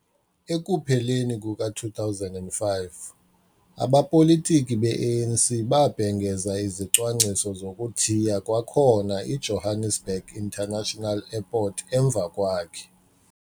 Ekupheleni kuka-2005, abapolitiki be-ANC babhengeza izicwangciso zokuthiya kwakhona i-Johannesburg International Airport emva kwakhe.